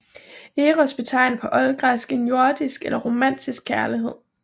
Eros betegner på oldgræsk en jordisk eller romantisk kærlighed